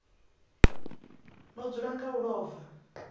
no dzula nga u ḽova